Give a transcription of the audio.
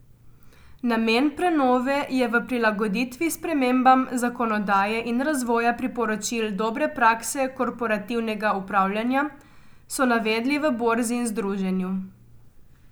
Namen prenove je v prilagoditvi spremembam zakonodaje in razvoja priporočil dobre prakse korporativnega upravljanja, so navedli v borzi in združenju.